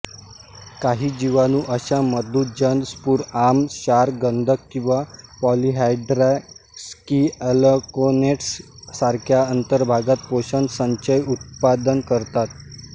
काही जीवाणू अशा मधुजन स्फुरआम्ल क्षार गंधक किंवा पॉलिहायड्रॉक्सीअलॅकोनेट्स सारख्या अंतर्भागात पोषण संचय उत्पादन करतात